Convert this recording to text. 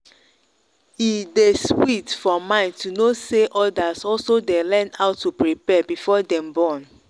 e day sweet for mind to know say others also day learn how to prepare before them born.